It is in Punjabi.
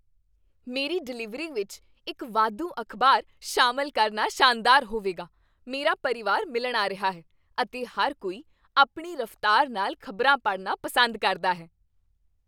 ਮੇਰੀ ਡਿਲੀਵਰੀ ਵਿੱਚ ਇੱਕ ਵਾਧੂ ਅਖ਼ਬਾਰ ਸ਼ਾਮਿਲ ਕਰਨਾ ਸ਼ਾਨਦਾਰ ਹੋਵੇਗਾ! ਮੇਰਾ ਪਰਿਵਾਰ ਮਿਲਣ ਆ ਰਿਹਾ ਹੈ, ਅਤੇ ਹਰ ਕੋਈ ਆਪਣੀ ਰਫਤਾਰ ਨਾਲ ਖ਼ਬਰਾਂ ਪੜ੍ਹਨਾ ਪਸੰਦ ਕਰਦਾ ਹੈ।